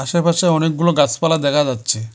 আশেপাশে অনেকগুলো গাসপালা দেখা যাচ্ছে।